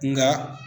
Nka